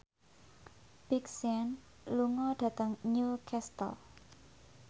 Big Sean lunga dhateng Newcastle